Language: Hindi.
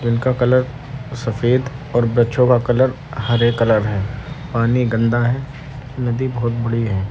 जिनका कलर सफ़ेद और वृक्षों का कलर हरे कलर है। पानी गन्दा है। नदी बोहोत बड़ी है।